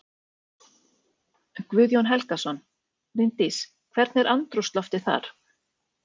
Guðjón Helgason: Bryndís, hvernig er andrúmsloftið þar?